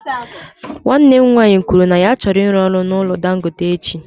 Nwanne m nwanyị kwuru na ya chọrọ ịrụ ọrụ na ụlọ ọrụ dangote echi.